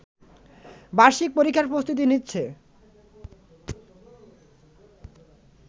বার্ষিক পরীক্ষার প্রস্তুতি নিচ্ছে